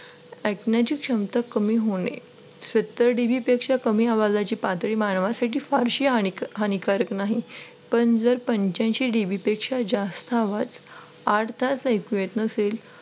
ऐकण्याची क्षमता कमी होणे सत्तर D. B पेक्षा कमी आवाजाची पातळी मानवासाठी फारशी हानिकारक नाही पण जर पांच्यांशी D. b पेक्षा जास्त आवाज आठ तास ऐकू येत नसेल तर